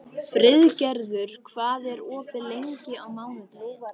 Friðgerður, hvað er opið lengi á mánudaginn?